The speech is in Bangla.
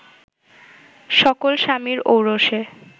সকল স্বামীর ঔরসে